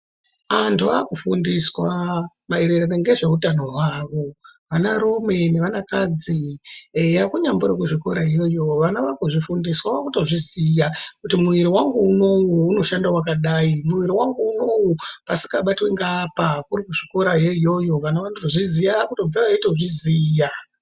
Antu akufundiswa maererano ngezvehutano hwawo anarume ne anakadzi eya kunyangwe nekuzvikora iyoyo ana vakuzvifundiswa vakuzviziya kuti muviri vangu unoyu unoshanda wakadai muwiri wanku unoyu pasingabatwi ngeapa kuzvikora iyoyo vana vonotozviziwa kubvayo weitozviziya.